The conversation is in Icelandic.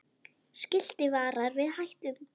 Skilti varar við hættum.